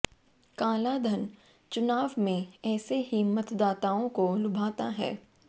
काला धन चुनाव में ऐसे ही मतदाताओं को लुभाता है